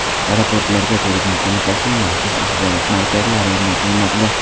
Aeroportlarga Turizm qo‘mitasining maxsus axborot markazlari o‘rnatilmoqda.